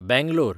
Bangalore